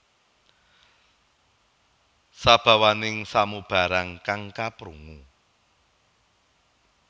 Sabawaning samubarang kang kaprungu